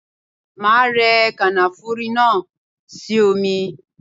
Máa rẹ kànáfùrú náà sí omi.